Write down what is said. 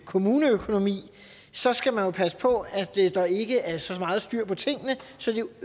kommuneøkonomi så skal man jo passe på at der ikke er så meget styr på tingene